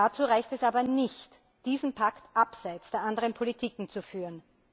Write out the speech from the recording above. Dazu reicht es aber nicht, diesen Pakt abseits der anderen Politiken zu führen.